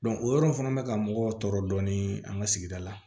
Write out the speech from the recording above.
o yɔrɔ fana bɛ ka mɔgɔ tɔɔrɔ dɔɔnin an ka sigida la